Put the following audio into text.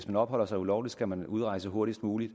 man opholder sig ulovligt skal man vel udrejse hurtigst muligt